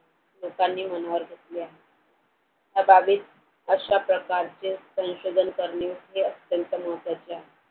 लोकांनी मनावर घेतले आहे या बाबी अशा प्रकारचे संशोधन करणे हे अत्यंत महत्वाचे आहे.